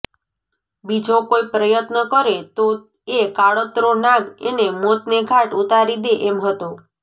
બીજો કોઈ પ્રયત્ન કરે તો એ કાળોતરો નાગ એને મોતને ઘાટ ઉતારી દે એમ હતો